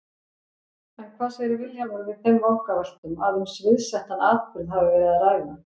En hvað segir Vilhjálmur við þeim vangaveltum að um sviðsettan atburð hafi verið að ræða?